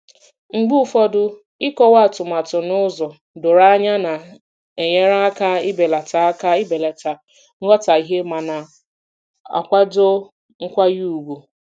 Mgbe ụfọdụ ịkọwa atumatu n'ụzọ doro anya na-enyere aka ibelata aka ibelata nghọtahie ma na-akwado nkwanye ùgwù.